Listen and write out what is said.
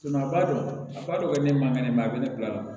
a b'a dɔn a donnen mankan ne ma a bɛ ne bila la